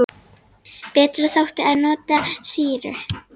Betra þótti að nota sýru.